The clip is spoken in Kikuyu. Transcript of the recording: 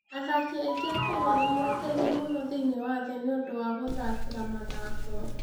Athaki aingĩ a Kenya nĩ moĩkaine mũno thĩinĩ wa thĩ yothe nĩ ũndũ wa gũthakĩra mathako.